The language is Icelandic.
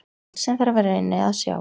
Allt sem þar var inni að sjá